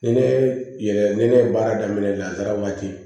Ni ne yɛlɛ ni ne ye baara daminɛ lada waati